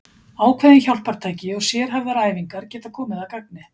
Ákveðin hjálpartæki og sérhæfðar æfingar geta komið að gagni.